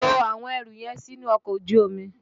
To àwọn ẹrù yẹn sínú ọkọ̀ ojú omi!